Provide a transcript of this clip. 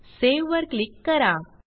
save वर click करा